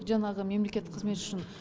жаңағы мемлекеттік қызмет үшін